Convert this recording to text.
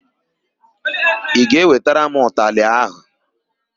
Ị ga-ewetara m ụtalị áhụ̀?